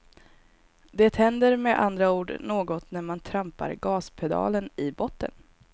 Det händer med andra ord något när man trampar gaspedalen i botten.